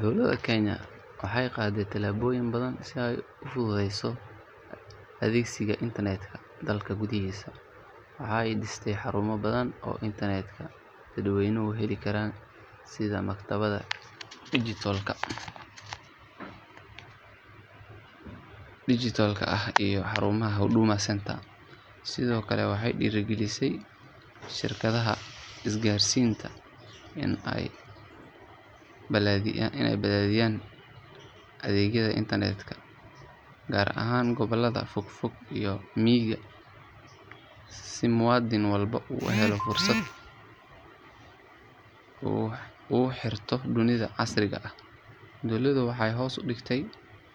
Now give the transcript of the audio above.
Dowladda Kenya waxay qaaday tallaabooyin badan si ay u fududeyso adeegsiga internet-ka dalka gudihiisa. Waxa ay dhistay xarumo badan oo internet-ka dadweynuhu heli karaan sida maktabadaha dijitaalka ah iyo xarumaha Huduma Centre. Sidoo kale waxay dhiirrigelisay shirkadaha isgaarsiinta in ay balaadhiyaan adeegyada internet-ka gaar ahaan gobollada fogfog iyo miyiga si muwaadin walba u helo fursad uu ugu xirnaado dunida casriga ah. Dowladda waxay hoos u dhigtay